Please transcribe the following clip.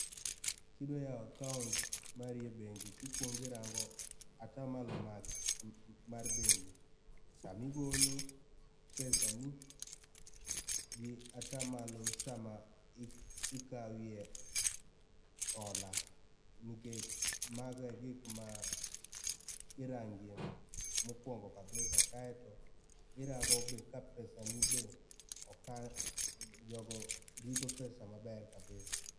kidwa yao accaount mari e bengi tikuong irango atamalo mag mar bengi sama igolo pesani gi atamalo sama ikawie hola, nikech mago e gikma irangie mokuongo kabisa kaito irango be ka pesani be okan, jogo rito pesa maber kabisa